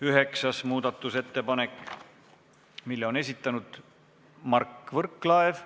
Üheksas muudatusettepanek, mille on esitanud Mart Võrklaev.